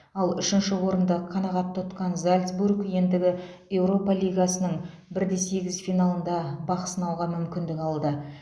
ал үшінші орынды қанғат тұтқан зальцбург енді еуропа лигасының бір де сегіз финалында бақсынауға мүмкіндік алды